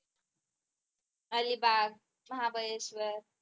Alibag Mahabaleshwar